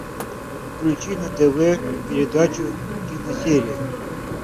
включи на тв передачу киносерия